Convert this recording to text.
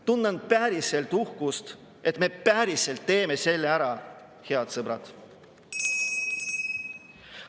Tunnen päriselt uhkust, et me päriselt teeme selle ära, head sõbrad.